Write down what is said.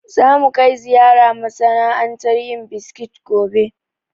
Za mu kai ziyara masana'antar yin biskit gobe